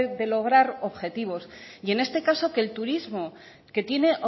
de lograr objetivos y en este caso que el turismo que tiene